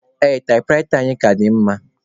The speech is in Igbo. Ee, taịpụraịta anyị a ka dị mma.